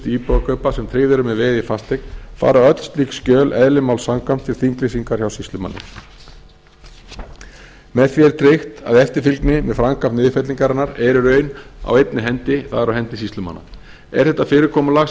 íbúðarkaupa sem tryggð eru með veði í fasteign fara öll slík skjöl eðli máls samkvæmt til þinglýsingar hjá sýslumanni með því er tryggt að eftirfylgni með framkvæmd niðurfellingarinnar er í raun á einni hendi það er á hendi sýslumanna er þetta fyrirkomulag